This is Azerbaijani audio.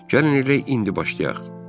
Gəlin elə indi başlayaq.